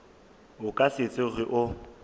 o ka se tsoge o